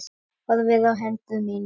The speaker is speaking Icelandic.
Horfði á hendur mínar.